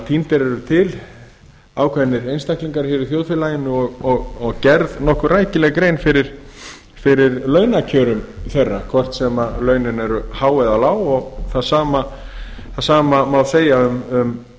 tíndir eru til ákveðnir einstaklingar hér í þjóðfélaginu og gerð nokkuð rækileg grein fyrir launakjörum þeirra hvort sem launin eru há eða lág það sama má segja um